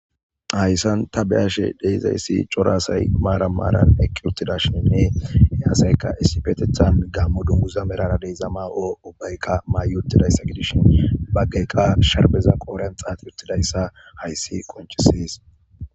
Hayssan ta be'ashe de'izaysi cora asay maaran maaran eqqi uttidashinne he asay issipetethan gaamo dunguza melara de'iza ma'o ubbayka mayi uttidayssa gisishin baggay qa sharbeza qoodhiyan xaaxi uttidayssa hayssi qonccises.